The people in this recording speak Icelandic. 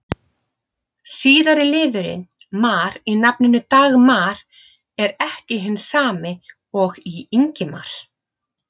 Síðari liðurinn-mar í nafninu Dagmar er ekki hinn sami og í Ingimar.